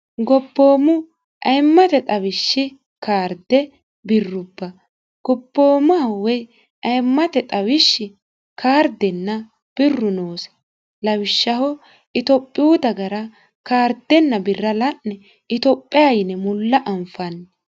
goboommu ayimmate xawishshi kaarde birrubba goboommaho woy ayimmate xawishshi kaardenna birru noosi lawishshaho itophiyu dagara kaardenna birra la'ne itophiya yine mulla anfanni.